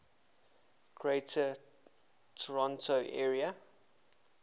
greater toronto area